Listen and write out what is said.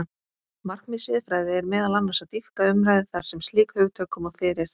Markmið siðfræði er meðal annars að dýpka umræðu þar sem slík hugtök koma fyrir.